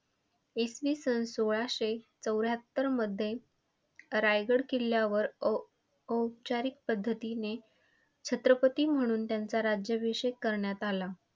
सन सोळाशे चौऱ्याहत्तरमध्ये रायगड किल्ल्यावर औपऔपचारिक पद्धतीने छत्रपती म्हणून त्यांचा राज्याभिषेक करण्यात आला.